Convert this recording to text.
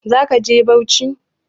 Za ka je Bauchi?